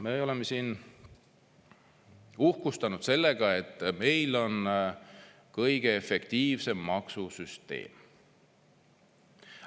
Me oleme siin uhkustanud sellega, et meil on kõige efektiivsem maksusüsteem.